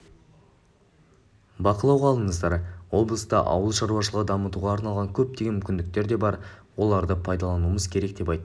бақылауға алыңыздар облыста ауыл шаруашылығын дамытуға арналған көптеген мүмкіндіктер бар соларды пайдалануымыз керек деп айтты